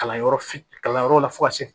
Kalanyɔrɔ fitini kalan yɔrɔ la fo ka se